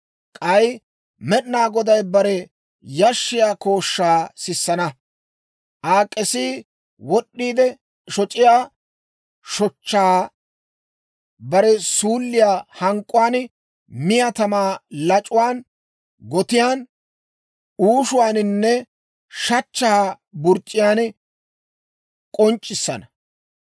K'ay Med'inaa Goday bare yashshiyaa kooshshaa sissana; Aa k'esii wod'd'iide shoc'iyaa shochchaa bare suulliyaa hank'k'uwaan, miyaa tamaa lac'uwaan, gotiyaan, uushuwaaninne shachchaa burc'c'iyaan k'onc'c'issana.